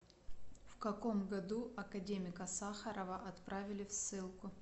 в каком году академика сахарова отправили в ссылку